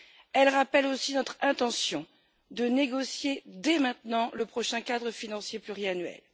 Elle rappelle aussi notre intention de négocier, dès maintenant, le prochain cadre financier pluriannuel.